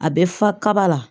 A bɛ fa kaba la